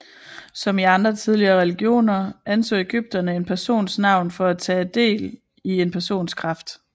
Som i andre tidligere religioner anså ægypterne en persons navn for at tage del i en persons kraft